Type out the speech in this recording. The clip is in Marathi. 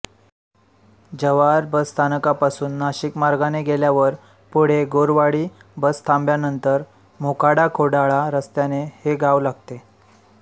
जव्हार बस स्थानकापासून नाशिक मार्गाने गेल्यावर पुढे गोरवाडी बसथांब्यानंतर मोखाडाखोडाळा रस्त्याने हे गाव लागते